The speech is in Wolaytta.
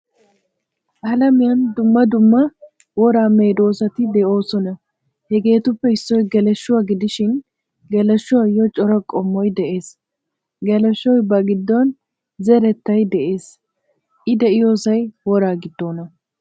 Alamiyaan dumma dumma wora medozatti deosona. Hagettuppe issoy Geleeshuwaa gidishin geleeshuwayo cora qommoy de'ees. Geleeshoy ba giddon zerettay de'ees. I de'iyosay worraa giddona.